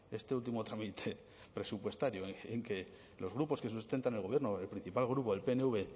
este último trámite presupuestario en que los grupos que sustentan al gobierno o el principal grupo el pnv